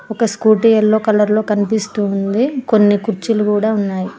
ఒక scooty yellow colour లో కనిపిస్తుంది కొన్ని కుర్చీలు కూడా ఉన్నాయి.